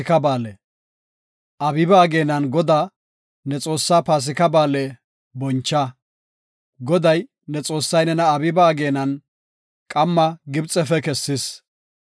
Abiiba ageenan Godaa, ne Xoossaa Paasika Ba7aale boncha; Goday, ne Xoossay nena Abiiba ageenan qamma Gibxefe kessis.